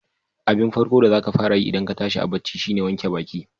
Abin farko da zaka fara yi idan ka tashi a bacci shine ka wanke baƙi.